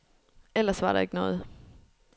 Ellers var der ikke noget.